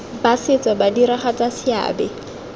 ba setso ba diragatsa seabe